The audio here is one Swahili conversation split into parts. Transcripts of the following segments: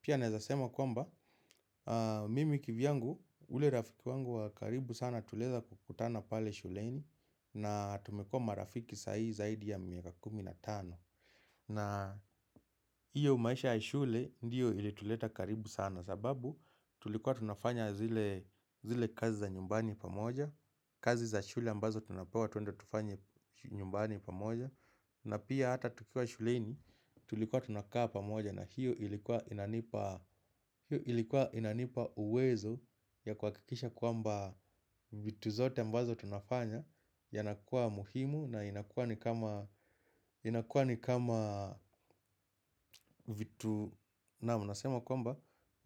Pia naeza sema kwamba mimi kivyangu ule rafiki wangu wa karibu sana tulieza kukutana pale shuleni. Na tumekuwa marafiki sai zaidi ya miaka kumi na tano. Na iyo maisha ya shule ndiyo ilituleta karibu sana. Sababu tulikuwa tunafanya zile kazi za nyumbani pamoja. Kazi za shule ambazo tunapewa tuende tufanye nyumbani pamoja. Na pia hata tukiwa shuleni tulikuwa tunakaa pamoja. Na hiyo ilikuwa inanipa uwezo ya kuakikisha kwamba vitu zote ambazo tunafanya yanakuwa muhimu na inakuwa ni kama vitu naam nasema kwamba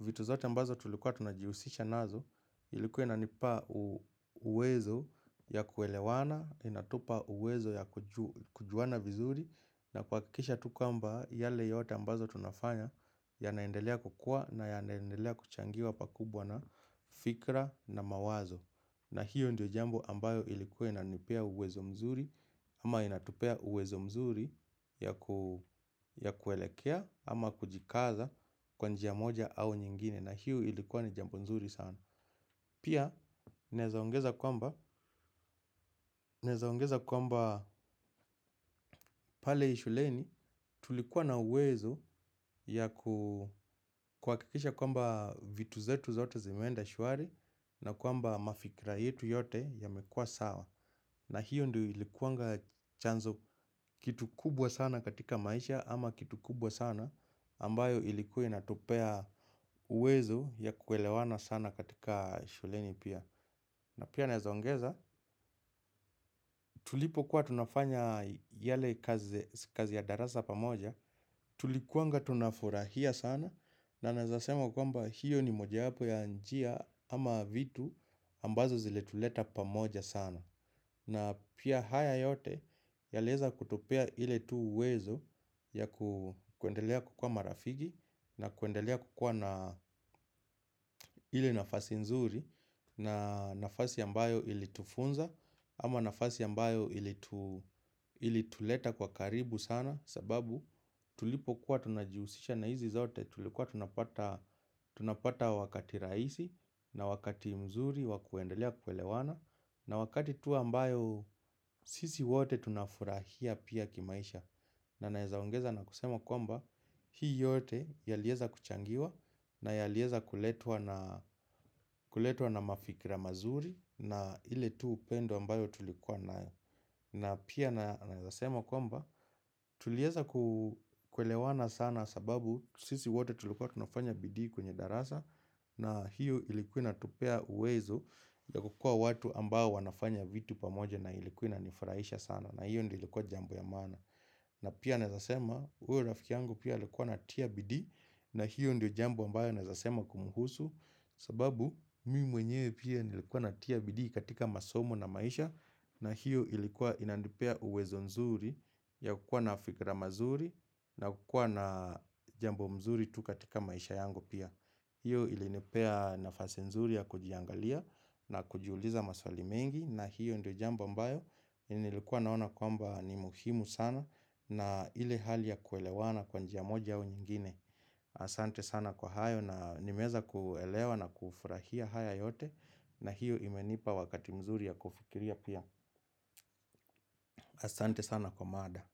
vitu zote ambazo tulikuwa tunajiusisha nazo ilikuwa inanipa uwezo ya kuelewana, inatupa uwezo ya kujuana vizuri na kuakikisha tu kamba yale yote ambazo tunafanya yanaendelea kukua na yanaendelea kuchangiwa pakubwa na fikra na mawazo na hiyo ndio jambo ambayo ilikuwa inanipea uwezo mzuri ama inatupea uwezo mzuri ya kuelekea ama kujikaza kwa njia moja au nyingine na hiyo ilikuwa ni jambo nzuri sana. Pia naeza ongeza kwamba pale shuleni tulikuwa na uwezo ya kuakikisha kwamba vitu zetu zote zimeenda shwari na kwamba mafikira yetu yote yamekua sawa. Na hiyo ndio ilikuwanga chanzo kitu kubwa sana katika maisha ama kitu kubwa sana ambayo ilikuwa inatupea uwezo ya kuelewana sana katika shuleni pia. Na pia naeza ongeza tulipokuwa tunafanya yale kazi ya darasa pamoja. Tulikuanga tunafurahia sana na naeza sema kwamba hiyo ni mojawapo ya njia ama vitu ambazo zilituleta pamoja sana. Na pia haya yote yalieza kutupea ile tu uwezo ya kuendelea kukua marafigi na kuendelea kukua na ile nafasi nzuri na nafasi ambayo ilitufunza ama nafasi ambayo ilituleta kwa karibu sana sababu tulipokuwa tunajiusisha na hizi zote tulikuwa tunapata wakati raisi na wakati mzuri wa kuendelea kuelewana na wakati tu ambayo sisi wote tunafurahia pia kimaisha. Na naeza ongeza na kusema kwamba hii yote yalieza kuchangiwa na yalieza kuletwa na mafikira mazuri na ile tu upendo ambayo tulikuwa nayo. Na pia naeza sema kwamba tulieza kuelewana sana sababu sisi wote tulikuwa tunafanya bidii kwenye darasa na hiyo ilikuwa inatupea uwezo ya kukua watu ambayo wanafanya vitu pamoja na ilikuwa inanifuraisha sana na hiyo ndio ilikuwa jambo ya maana. Na pia naeza sema huyo rafiki yangu pia ilikuwa anatia bidii na hiyo ndio jambo ambayo naeza sema kumhusu. Sababu mi mwenyewe pia nilikuwa natia bidii katika masomo na maisha na hiyo ilikuwa inandipea uwezo nzuri ya kukua na fikra mazuri na kukua na jambo mzuri tu katika maisha yangu pia. Hiyo ilinipea nafasi nzuri ya kujiangalia na kujiuliza maswali mengi na hiyo ndio jambo ambayo nilikuwa naona kwamba ni muhimu sana na ile hali ya kuelewana kwa njia moja au nyingine. Asante sana kwa hayo na nimeweza kuelewa na kufurahia haya yote na hiyo imenipa wakati mzuri ya kufikiria pia. Asante sana kwa mada.